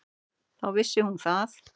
Þá vissi hún að